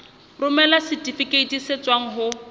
romela setifikeiti se tswang ho